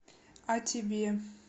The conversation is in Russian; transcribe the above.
а тебе